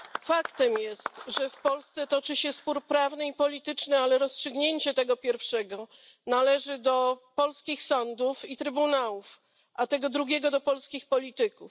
Faktem jest, że w Polsce toczy się spór prawny i polityczny, ale rozstrzygnięcie tego pierwszego należy do polskich sądów i trybunałów, a tego drugiego do polskich polityków.